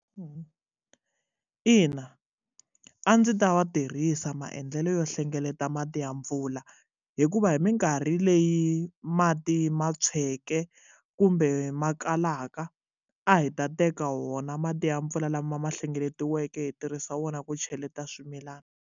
Eya ina a ndzi ta tirhisa maendlelo yo hlengeleta mati ya mpfula hikuva hi minkarhi leyi mati ma tsweke kumbe ma kalaka a hi ta teka wona mati ya mpfula lama hlengeletiweke hi tirhisa wona ku cheleta swimilana.